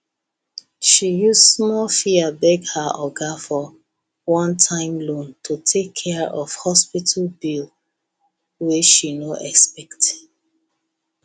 she use small fear beg her oga for onetime loan to take care of hospital bill wey she no expect